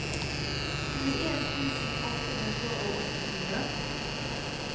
tjueen tusen åtte hundre og åttifire